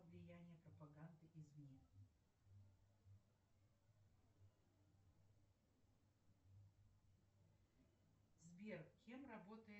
салют марафонское сражение это часть чего то